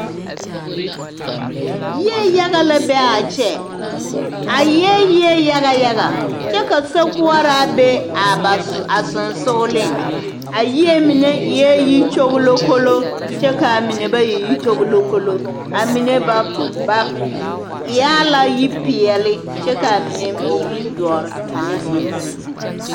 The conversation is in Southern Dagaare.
Yie yaga yaga la be a kyɛ a eɛɛ yie yaga yaga kyɛ ka sokoɔraa be a sɔŋsɔgliŋ poɔ a yie mine eɛɛ yikyoŋlokoloo kyɛ kaa mine ba e yikyoŋlokoloo a mine ba ba e a la yipeɛle kyɛ kaa mine e yidɔre ane yizeere.